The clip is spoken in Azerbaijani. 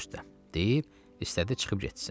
baş üstə deyib istədi çıxıb getsin.